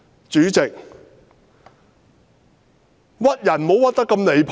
主席，"屈"人也不能太離譜。